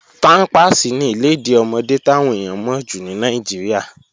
Pámpàsì ni ìlèdí ọmọdé táwọn èèyàn mọ̀ jù ní Nàìjíríà.